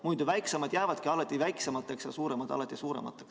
Muidu väiksemad jäävadki alati väiksemateks ja suuremad alati suuremateks.